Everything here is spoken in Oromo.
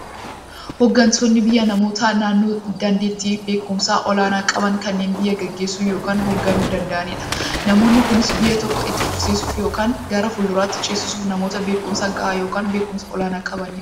Hooggantoonni biyyaa namoota daandeettiifi beekumsa olaanaa qaban, kanneen biyya gaggeessuu yookiin hoogganuu danda'aniidha. Namoonni kunis, biyya tokko itti fufsiisuuf yookiin gara fuulduraatti ceesisuuf, namoota beekumsa gahaa yookiin beekumsa olaanaa qabaniidha.